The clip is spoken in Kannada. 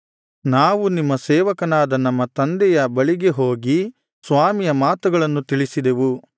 ನಾವು ನಿಮ್ಮ ಸೇವಕನಾದ ನಮ್ಮ ತಂದೆಯ ಬಳಿಗೆ ಹೋಗಿ ಸ್ವಾಮಿಯ ಮಾತುಗಳನ್ನು ತಿಳಿಸಿದೆವು